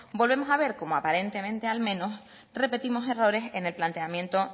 volvemos a ver cómo aparentemente al menos repetimos errores en el planteamiento